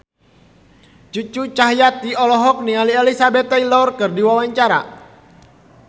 Cucu Cahyati olohok ningali Elizabeth Taylor keur diwawancara